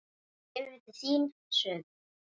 Yfir til þín, suður.